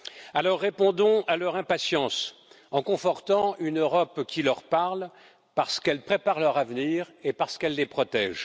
Alors répondons à leur impatience en confortant une Europe qui leur parle parce qu'elle prépare leur avenir et parce qu'elle les protège.